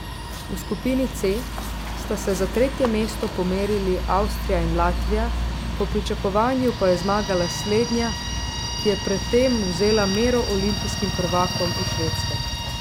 V skupini C sta se za tretje mesto pomerili Avstrija in Latvija, po pričakovanju pa je zmagala slednja, ki je pred tem vzela mero olimpijskim prvakom iz Švedske.